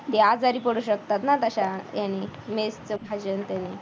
ते आजारी पडू शकतात ना त्याने mess च भाजी आणि त्याने